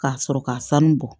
K'a sɔrɔ ka sanu bɔ